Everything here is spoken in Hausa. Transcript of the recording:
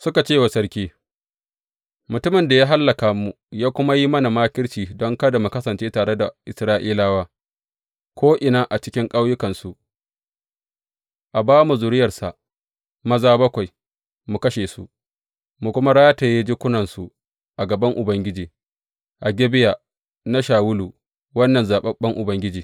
Suka ce wa sarki, Mutumin da ya hallaka mu ya kuma yi mana makirci don kada mu kasance tare da Isra’ilawa ko’ina a cikin ƙauyukansu, a ba mu zuriyarsa maza bakwai, mu kashe su, mu kuma rataye jikunansu a gaban Ubangiji a Gibeya na Shawulu wannan zaɓaɓɓen Ubangiji.